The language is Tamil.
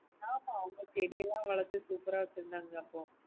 ஆமா அவங்க செடியல்லாம் வளத்த super ஆ வச்சுருந்தாங்க அப்போ